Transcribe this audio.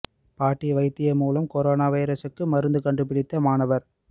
பாட்டி வைத்தியம் மூலம் கொரோனா வைரசுக்கு மருந்து கண்டு பிடித்த மாணவர்